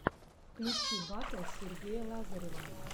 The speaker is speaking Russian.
включи батл сергея лазарева